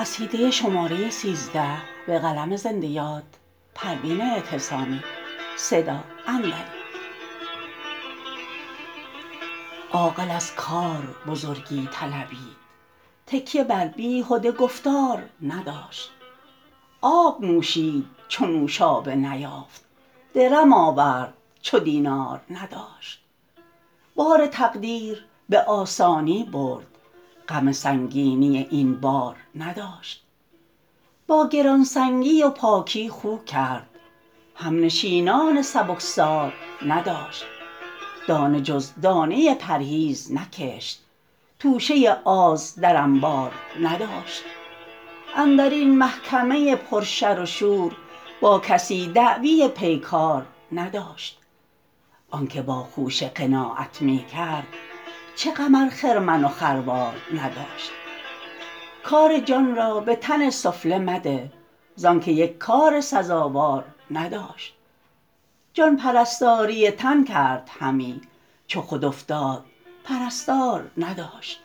عاقل از کار بزرگی طلبید تکیه بر بیهده گفتار نداشت آب نوشید چو نوشابه نیافت درم آورد چو دینار نداشت بار تقدیر به آسانی برد غم سنگینی این بار نداشت با گرانسنگی و پاکی خو کرد همنشینان سبکسار نداشت دانه جز دانه پرهیز نکشت توشه آز در انبار نداشت اندرین محکمه پر شر و شور با کسی دعوی پیکار نداشت آنکه با خوشه قناعت می کرد چه غم ار خرمن و خروار نداشت کار جان را به تن سفله مده زانکه یک کار سزاوار نداشت جان پرستاری تن کرد همی چو خود افتاد پرستار نداشت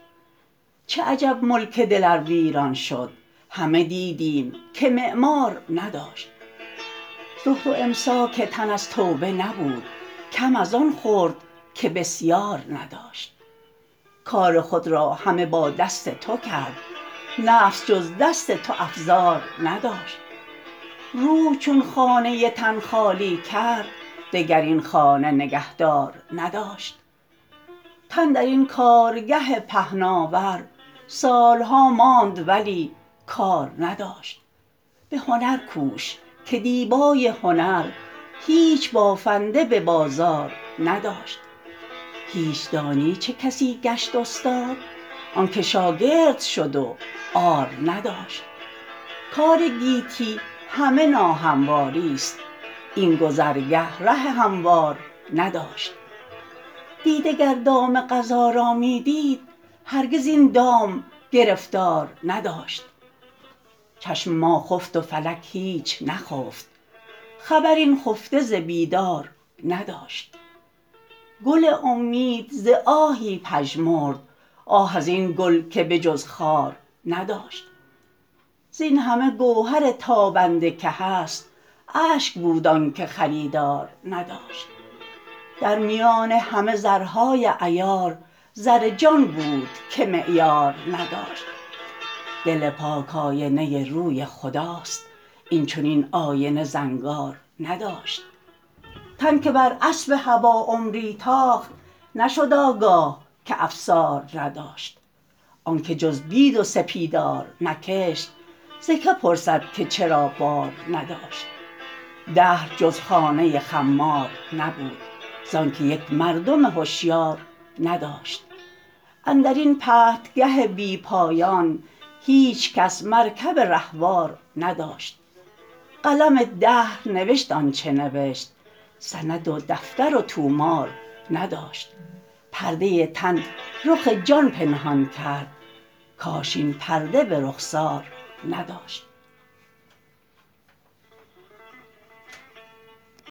چه عجب ملک دل ار ویران شد همه دیدیم که معمار نداشت زهد و امساک تن از توبه نبود کم از آن خورد که بسیار نداشت کار خود را همه با دست تو کرد نفس جز دست تو افزار نداشت روح چون خانه تن خالی کرد دگر این خانه نگهدار نداشت تن در این کارگه پهناور سالها ماند ولی کار نداشت به هنر کوش که دیبای هنر هیچ بافنده به بازار نداشت هیچ دانی چه کسی گشت استاد آنکه شاگرد شد و عار نداشت کار گیتی همه ناهمواریست این گذرگه ره هموار نداشت دیده گر دام قضا را می دید هرگز این دام گرفتار نداشت چشم ما خفت و فلک هیچ نخفت خبر این خفته ز بیدار نداشت گل امید ز آهی پژمرد آه از این گل که به جز خار نداشت زینهمه گوهر تابنده که هست اشک بود آنکه خریدار نداشت در میان همه زرهای عیار زر جان بود که معیار نداشت دل پاک آینه روی خداست این چنین آینه زنگار نداشت تن که بر اسب هوی عمری تاخت نشد آگاه که افسار نداشت آنکه جز بید و سپیدار نکشت ز که پرسد که چرا بار نداشت دهر جز خانه خمار نبود زانکه یک مردم هشیار نداشت اندرین پرتگه بی پایان هیچکس مرکب رهوار نداشت قلم دهر نوشت آنچه نوشت سند و دفتر و طومار نداشت پرده تن رخ جان پنهان کرد کاش این پرده به رخسار نداشت